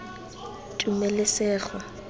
tumelesego